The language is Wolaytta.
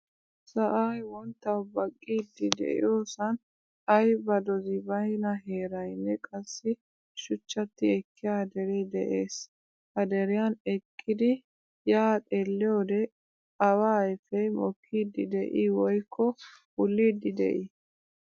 Sa'ay wonttawu baqqidi deiyosan ayba dozi bayna heeraynne qassi shuchchati ekkiya dere de'ees. Ha deriyan eqqidi ya xeelliyode awa ayfe mokkidi de'i woykko wullidi de'i?